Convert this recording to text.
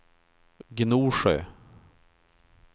Gnosjö